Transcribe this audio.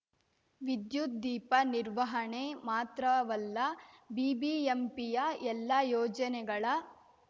ವಿದ್ಯುತ್‌ ದೀಪ ನಿರ್ವಹಣೆ ಮಾತ್ರವಲ್ಲ ಬಿಬಿಎಂಪಿಯ ಎಲ್ಲಾ ಯೋಜನೆಗಳ